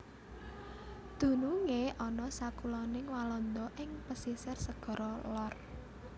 Dunungé ana sakuloning Walanda ing pesisir Segara Lor